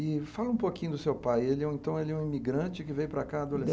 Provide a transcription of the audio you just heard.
E fala um pouquinho do seu pai, ele então ele é um imigrante que veio para cá,